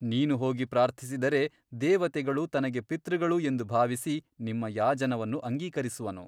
ನೀನು ಹೋಗಿ ಪ್ರಾರ್ಥಿಸಿದರೆ ದೇವತೆಗಳು ತನಗೆ ಪಿತೃಗಳು ಎಂದು ಗೌರವಿಸಿ ನಿಮ್ಮ ಯಾಜನವನ್ನು ಅಂಗೀಕರಿಸುವನು.